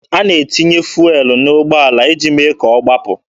A na-etinye fụelụ n'ụgbọala iji mee ka ọ gbapụ.